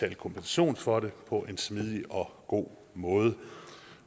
af kompensation for det på en smidig og god måde